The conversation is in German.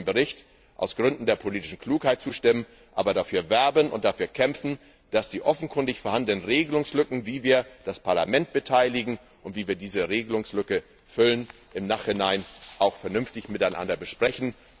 Wir sollten dem Bericht aus Gründen der politischen Klugheit zustimmen, aber dafür werben und dafür kämpfen, dass wir die offenkundig vorhandenen Regelungslücken, wie wir das Parlament beteiligen und wie wir diese Regelungslücke füllen, im Nachhinein auch vernünftig miteinander besprechen.